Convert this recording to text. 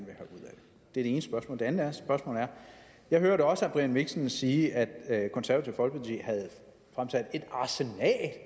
det ene spørgsmål det andet spørgsmål jeg hørte også herre brian mikkelsen sige at det konservative folkeparti havde fremsat et arsenal af